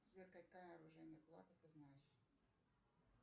сбер какая оружейная палата ты знаешь